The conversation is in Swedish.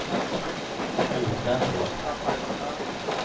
utvändig